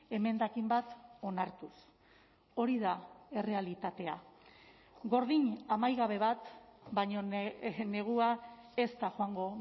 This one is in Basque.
emendakin bat onartuz hori da errealitatea gordin amaigabe bat baina negua ez da joango